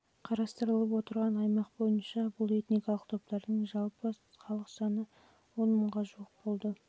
қарастырылып отырған аймақ бойынша бұл этникалық топтардың жалпы халық саны ға жуық болды